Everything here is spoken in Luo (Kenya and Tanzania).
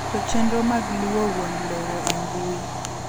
Keto chenro mag luwo wuon lowo e mbui.